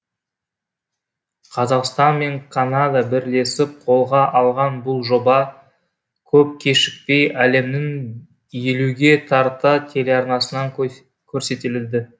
қазақстан мен канада бірлесіп қолға алған бұл жоба көп кешікпей әлемнің елуге тарта телеарнасынан көрсетіледі